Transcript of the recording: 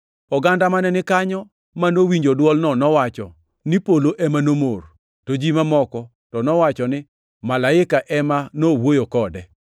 Oganda mane ni kanyo manowinjo dwolno nowacho ni polo ema nomor, to ji mamoko to nowacho ni malaika ema nowuoyo kode.